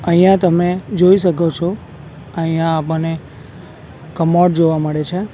અહીંયા તમે જોઈ શકો છો અહીંયા આપણને કમોડ જોવા મળે છે.